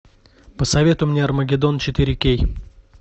посоветуй мне армагедон четыре кей